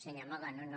senyor moga no no